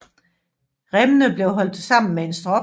Remmene bliver holdt sammen med en strop